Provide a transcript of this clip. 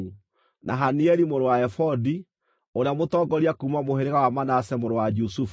na Hanieli mũrũ wa Efodi, ũrĩa mũtongoria kuuma mũhĩrĩga wa Manase mũrũ wa Jusufu;